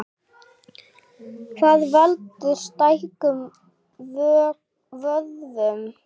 Hvað veldur stækkun á vöðvum?